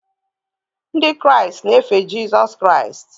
Ndị Kraịst na-efe Jizọs Kraịst